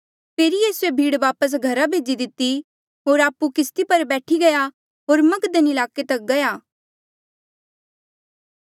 फेरी यीसूए भीड़ वापस घरा भेजी दिती होर आपु किस्ती पर बैठी गया होर मगदन ईलाके तक गया